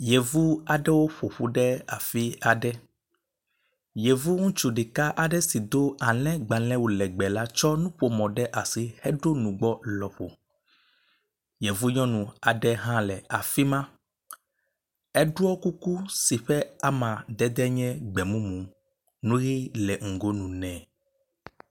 Yevu aɖewo ƒoƒu ɖe afi aɖe, yevu ŋutsu ɖeka aɖe si do alẽgbalẽ wu legbe la tsɔ nuƒomɔ ɖe asi heɔo nugbɔ lɔƒo. Yevu nyɔnu hã le afi ma, Eɖɔ kuku si ƒe amadede nye gbe mumu, nu ʋɛ̃ le ŋgonu nɛ.